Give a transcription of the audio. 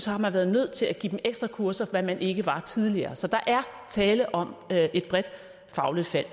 har man været nødt til at give dem ekstra kurser hvad man ikke var tidligere så der er tale om et fagligt fald